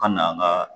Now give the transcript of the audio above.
An n'an ka